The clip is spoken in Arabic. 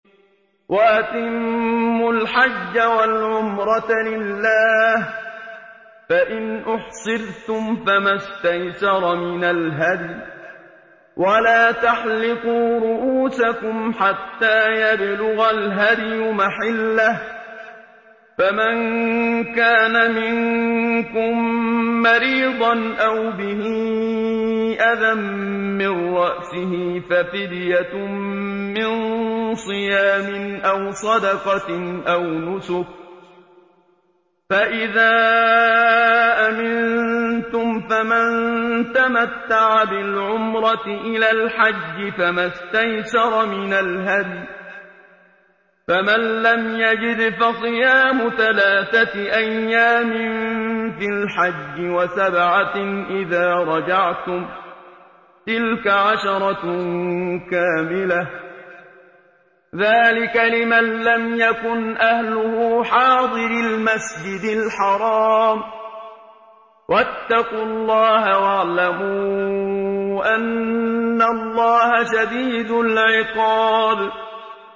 وَأَتِمُّوا الْحَجَّ وَالْعُمْرَةَ لِلَّهِ ۚ فَإِنْ أُحْصِرْتُمْ فَمَا اسْتَيْسَرَ مِنَ الْهَدْيِ ۖ وَلَا تَحْلِقُوا رُءُوسَكُمْ حَتَّىٰ يَبْلُغَ الْهَدْيُ مَحِلَّهُ ۚ فَمَن كَانَ مِنكُم مَّرِيضًا أَوْ بِهِ أَذًى مِّن رَّأْسِهِ فَفِدْيَةٌ مِّن صِيَامٍ أَوْ صَدَقَةٍ أَوْ نُسُكٍ ۚ فَإِذَا أَمِنتُمْ فَمَن تَمَتَّعَ بِالْعُمْرَةِ إِلَى الْحَجِّ فَمَا اسْتَيْسَرَ مِنَ الْهَدْيِ ۚ فَمَن لَّمْ يَجِدْ فَصِيَامُ ثَلَاثَةِ أَيَّامٍ فِي الْحَجِّ وَسَبْعَةٍ إِذَا رَجَعْتُمْ ۗ تِلْكَ عَشَرَةٌ كَامِلَةٌ ۗ ذَٰلِكَ لِمَن لَّمْ يَكُنْ أَهْلُهُ حَاضِرِي الْمَسْجِدِ الْحَرَامِ ۚ وَاتَّقُوا اللَّهَ وَاعْلَمُوا أَنَّ اللَّهَ شَدِيدُ الْعِقَابِ